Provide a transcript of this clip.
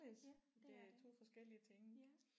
Ja det er det ja